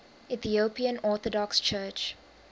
ethiopian orthodox church